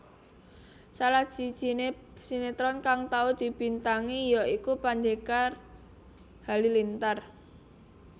Salah sijine sinetron kang tau dibintangi ya iku Pendekar Halilintar